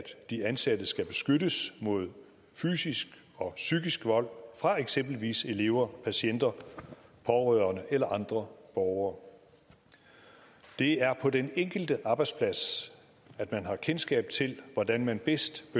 de ansatte skal beskyttes mod fysisk og psykisk vold fra eksempelvis elever patienter pårørende eller andre borgere det er på den enkelte arbejdsplads at man har kendskab til hvordan man bedst